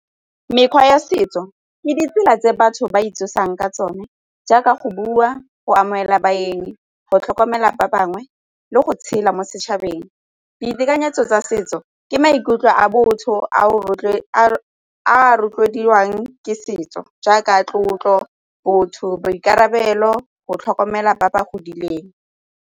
Mekgwa ya setso ke ditsela tse batho ba itsosang ka tsone jaaka go bua, go amogela baeng, go tlhokomela ba bangwe le go tshela mo setšhabeng ditekanyetso tsa setso ke maikutlo a botho a a rotloediwang ke setso jaaka tlotlo, botho, boikarabelo, go tlhokomela ba ba godileng.